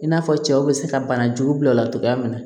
I n'a fɔ cɛw bɛ se ka bana jugu bila o la cogoya min na